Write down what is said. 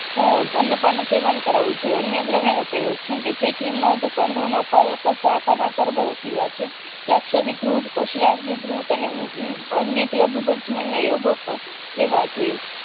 અ અન્નપાનનું સેવેન કરાવવું જોઈએ અન્ય ગ્રહણ્ય્ જેમ કે જેઠિમધ કંડોનો કલ્પ સાકરના સરબતો પીવા જોઈએ રાકશદરી દ્રુત પાસુરાગ્નિ દ્રુત અને એ અન્ય લઘુપંચમી યોગો લેવા જોઈએ